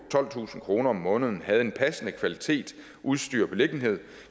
tolvtusind kroner om måneden havde en passende kvalitet udstyr og beliggenhed